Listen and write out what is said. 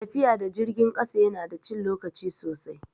Tafiya da jirgin ƙasa ya na da cin lokaci sosai